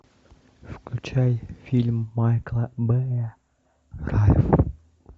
включай фильм майкла бэя ральф